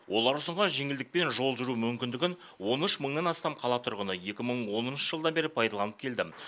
олар ұсынған жеңілдікпен жол жүру мүмкіндігін он үш мыңнан астам қала тұрғыны екі мың оныншы жылдан бері пайдаланып келді